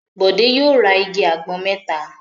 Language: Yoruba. Bọ̀dé yóò tlrs igi àgbọn mẹ́ta!